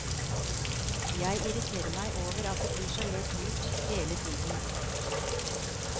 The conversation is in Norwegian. Jeg irriterer meg over at de blir så lett lurt hele tiden.